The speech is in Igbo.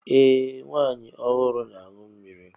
Ee! Nwa amụrụ ọhụrụ na-aṅụ mmiri.